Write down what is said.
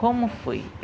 Como foi?